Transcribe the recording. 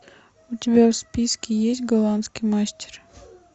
у тебя в списке есть голландский мастер